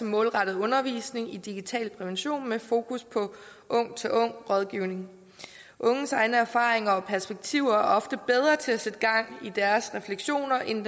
målrettet undervisning i digital prævention med fokus på ung til ung rådgivning unges egne erfaringer og perspektiver er ofte bedre til at sætte gang i deres refleksioner end